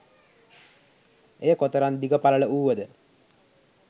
එය කොතරම් දිග පළල වුවද